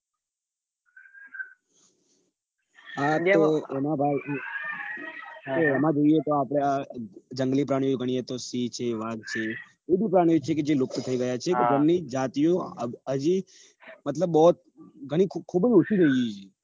હા તો એના ભાઈ એમાં જોઈએ તો આપડે આ જંગલી પ્રાણીઓ ગણીએ તો સિંહઃ છે વાઘ છે એ બ પ્રાણીઓ છે જે લુપ્ત થઇ ગયા છે તો જાતિઓ મતલબ ખુબ ખુબજ ઓછી થઇ ગઈ છે